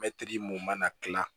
Mɛtiri mun mana dilan